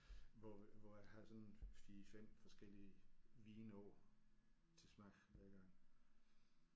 Hvor hvor jeg har sådan en 4 5 forskellige vine oppe til smag ad gangen